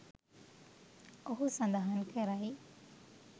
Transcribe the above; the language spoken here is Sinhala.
ඔහු සඳහන් කරයි